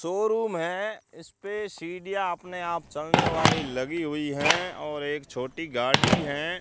Showroom है इस पे सीढ़ियां अपने आप चलने वाली लगी हुई हैं और एक छोटी गाड़ी हैं।